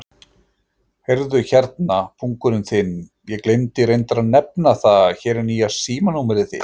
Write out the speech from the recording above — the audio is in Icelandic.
Heyrðu hérna, pungurinn þinn, ég gleymdi reyndar að nefna það, hér er nýja símanúmerið þitt.